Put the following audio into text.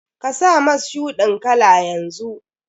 Ka sa mas shuɗin kala yanzu!